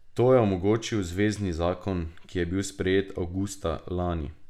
To je omogočil zvezni zakon, ki je bil sprejet avgusta lani.